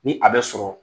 Ni a bɛ sɔrɔ